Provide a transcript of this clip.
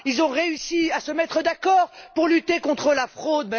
Ils ont réussi à se mettre d'accord pour lutter contre la fraude.